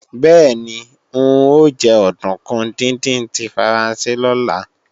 Bẹ́ẹ̀ni, n ó jẹ òdùnkún díndín tí Faransé lọ́la